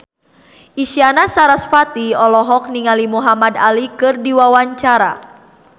Isyana Sarasvati olohok ningali Muhamad Ali keur diwawancara